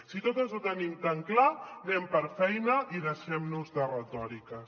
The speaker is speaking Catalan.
si totes ho tenim tan clar anem per feina i deixem·nos de retòriques